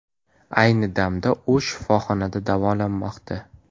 Ayni damda u shifoxonada davolanmoqda.